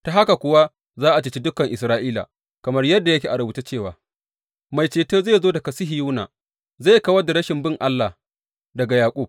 Ta haka kuwa za a ceci dukan Isra’ila, kamar yadda yake a rubuce cewa, Mai ceto zai zo daga Sihiyona; zai kawar da rashin bin Allah daga Yaƙub.